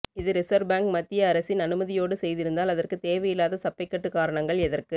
இது reserve bank மத்திய அரசின் அனுமதியோடு செய்திருந்தால் அதற்கு தேவையில்லாத சப்பைக்கட்டு காரணங்கள் எதற்கு